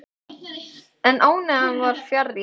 En ánægjan var fjarri.